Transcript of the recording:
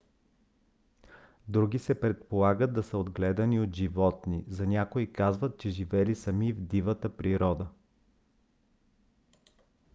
други се предполага да са отгледани от животни; за някои казват че живели сами в дивата природа